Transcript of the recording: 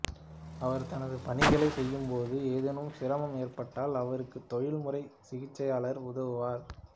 அவர் தனது பணிகளை செய்யும்போது ஏதேனும் சிரமம் ஏற்பட்டால் அவருக்கு தொழில்முறை சிகிச்சையாளர் உதவுவார்